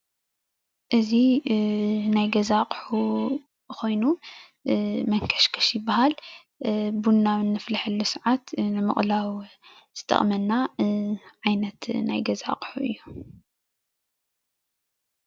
እዚ ናይ ገዛ ኣቑሑ ኮይኑ መንከሽከሽ ይበሃል። ቡና ኣብ እነፍልሐሉ ሰዓት ንምቅላው ዝጠቅመና ዓይነት ናይ ገዛ ኣቑሑ እዩ፡፡